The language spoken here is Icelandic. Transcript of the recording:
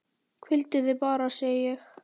Hvíldu þig bara, segi ég.